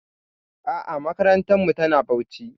A'a makarantarmu tana Bauchi.